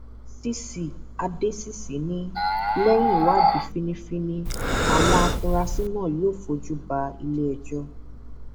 cc adésìsì ni lẹyìn ìwádìí fínnífínní àwọn afurasí náà yóò fojú ba iléẹjọ